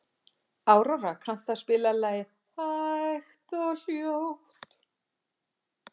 Aurora, kanntu að spila lagið „Hægt og hljótt“?